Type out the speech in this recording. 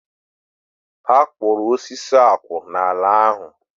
Ha koro osisi akwu n'ala ahu